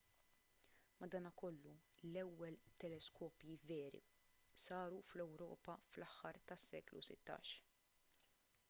madankollu l-ewwel teleskopji veri saru fl-ewropa fl-aħħar tas-seklu 16